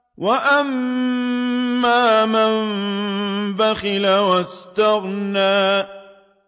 وَأَمَّا مَن بَخِلَ وَاسْتَغْنَىٰ